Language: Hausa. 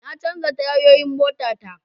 Na canja tayoyin mota ta